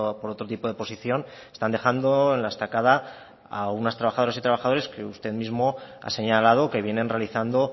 por otro tipo de posición están dejando en la estacada a unas trabajadoras y trabajadores que usted mismo ha señalado que vienen realizando